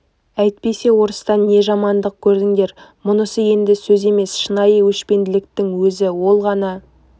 әйтпесе орыстан не жамандық көрдіңдер мұнысы енді сөз емес шынайы өшпенділіктің өзі ол ғана